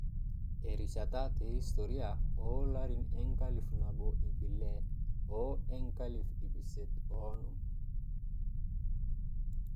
Erishata te historia oolarin enkalifu nabo iip ile o enkalifu iip isiet oonom.